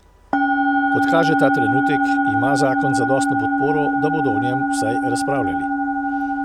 Kot kaže ta trenutek, ima zakon zadostno podporo, da bodo o njem vsaj razpravljali.